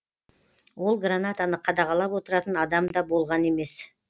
ол гранатаны қадағалап отыратын адам да болған емес